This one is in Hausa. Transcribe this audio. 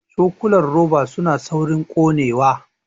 Cokulan roba suna saurin ƙonewa